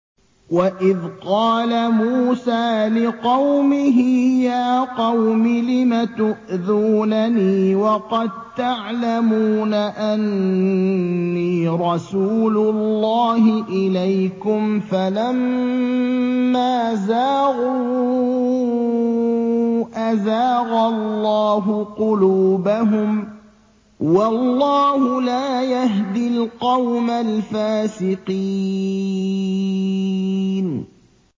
وَإِذْ قَالَ مُوسَىٰ لِقَوْمِهِ يَا قَوْمِ لِمَ تُؤْذُونَنِي وَقَد تَّعْلَمُونَ أَنِّي رَسُولُ اللَّهِ إِلَيْكُمْ ۖ فَلَمَّا زَاغُوا أَزَاغَ اللَّهُ قُلُوبَهُمْ ۚ وَاللَّهُ لَا يَهْدِي الْقَوْمَ الْفَاسِقِينَ